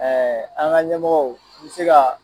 an ka ɲɛmɔgɔw mi se kaa